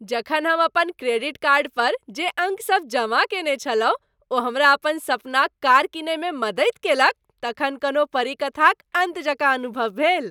जखन हम अपन क्रेडिट कार्ड पर जे अंक सब जमा कयने छलहुँ ओ हमरा अपन सपनाक कार किनइमे मदति कयलक तखन कोनो परीकथाक अन्त जकाँ अनुभव भेल।